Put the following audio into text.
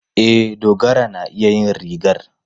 E, Dogara na iya yin rigar.